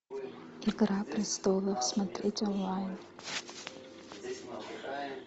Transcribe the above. игра престолов смотреть онлайн